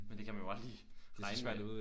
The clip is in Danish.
Men det kan man jo aldrig regne med